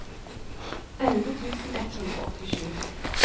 elleve tusen ett hundre og åttisju